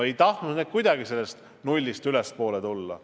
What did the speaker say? Ei tahtnud need kuidagi nullist ülespoole tulla.